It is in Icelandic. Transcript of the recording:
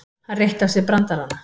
Hann reytti af sér brandarana.